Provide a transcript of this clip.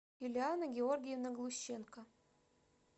юлиана георгиевна глущенко